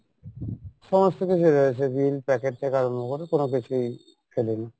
সমস্ত কিছু রয়েছে bill packet থেকে আরম্ভ করে কোনো কিছুই ফেলি নি।